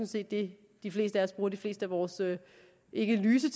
set det de fleste af os bruger de fleste af vores ikke lyse